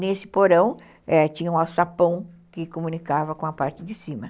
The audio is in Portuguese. Nesse porão tinha um alçapão que comunicava com a parte de cima.